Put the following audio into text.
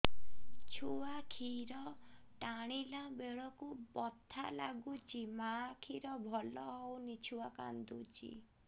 ଛୁଆ ଖିର ଟାଣିଲା ବେଳକୁ ବଥା ଲାଗୁଚି ମା ଖିର ଭଲ ହଉନି ଛୁଆ କାନ୍ଦୁଚି